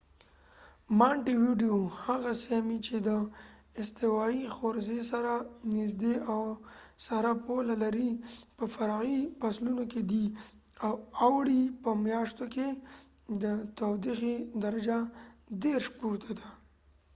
مانټیو ویډیو هغه سیمې چې د استوایی حوزې سره نزدې او سره پوله لري په فرعي فصلونو کې دی؛ د اوړي په مياشتو کي د تودوخې درجه له + 30 ° c پورته ده۔